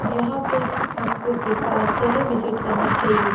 यहाँ पे आपको एक बार जरुर विजिट करना चाहिए।